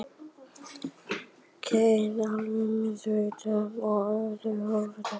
Karen: Aðallega mikilvægt til að horfast í augu við fortíðina?